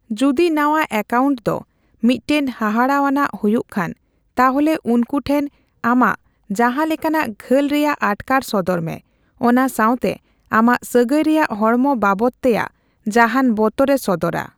ᱡᱩᱫᱤ ᱱᱟᱣᱟ ᱮᱠᱟᱣᱩᱱᱴ ᱫᱚ ᱢᱤᱫᱴᱮᱱ ᱦᱟᱦᱟᱲᱟᱣᱟᱱᱟᱜ ᱦᱩᱭᱩᱜ ᱠᱷᱟᱱ, ᱛᱟᱦᱞᱮ ᱩᱱᱠᱩ ᱴᱷᱮᱱ ᱟᱢᱟᱜ ᱡᱟᱦᱟᱸ ᱞᱮᱠᱟᱱᱟᱜ ᱜᱷᱟᱹᱞ ᱨᱮᱭᱟᱜ ᱟᱴᱠᱟᱨ ᱥᱚᱫᱚᱨ ᱢᱮ, ᱚᱱᱟ ᱥᱟᱣ ᱛᱮ ᱟᱢᱟᱜ ᱥᱟᱹᱜᱟᱹᱭ ᱨᱮᱭᱟᱜ ᱦᱚᱲᱢᱚ ᱵᱟᱵᱚᱛ ᱛᱮᱭᱟᱜ ᱡᱟᱦᱟᱱ ᱵᱚᱛᱚᱨᱮ ᱥᱚᱫᱚᱨᱟ ᱾